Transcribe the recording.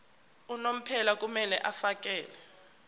unomphela kumele afakele